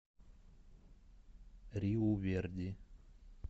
риу верди